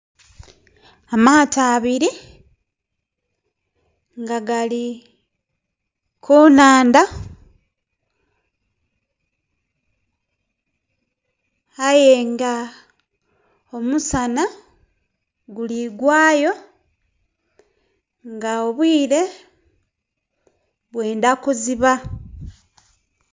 Amaato abiri nga gali ku nnhandha aye nga omusana guli gwayo nga obwire bwendha kuziba.